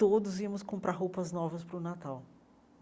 todos íamos comprar roupas novas para o Natal.